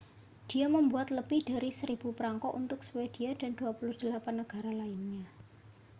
dia membuat lebih dari 1.000 prangko untuk swedia dan 28 negara lainnya